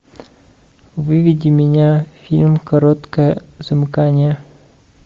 выведи меня фильм короткое замыкание